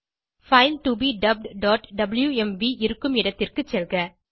file to be dubbedடப்ளூஎம்வி இருக்கும் இடத்திற்கு செல்க